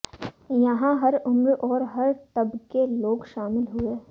यहां हर उम्र और हर तबके के लोग शामिल हुए